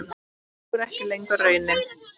Sú er ekki lengur raunin.